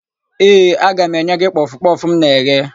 Ee, aga m enye gị kpọfụ kpọfụ m na-eghe.